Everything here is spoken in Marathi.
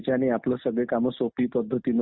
पारदर्शक निवडणुका न झाल्यामुळे